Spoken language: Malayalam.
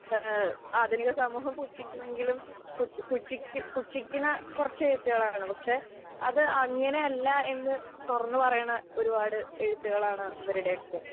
ആധുനിക സമൂഹം പുച്ഛിക്കുമെങ്കിലും,, പുച്ഛി പുച്ഛിക്കണ കുറച്ചു വ്യക്തികളാണല്ലോ. പക്ഷെ അതങ്ങനെയല്ല എന്ന് തുറന്നു പറയണ ഒരു പാട് എഴുത്തുകളാണ് ഇവരുടെയൊക്കെ.